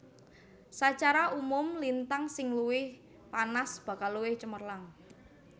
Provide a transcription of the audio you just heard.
Sacara umum lintang sing luwih panas bakal luwih cemerlang